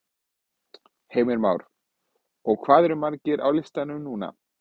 Heimir Már: Hvað eru margir á listanum núna?